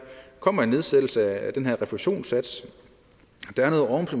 kommer en nedsættelse af den her refusionssats